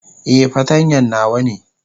Eh, fartanya nawa ne.